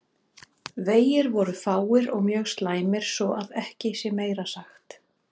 Vegir voru fáir og mjög slæmir svo að ekki sé meira sagt.